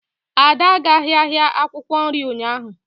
Ada agaghị ahịa akwukwo nri ụnyaahụ.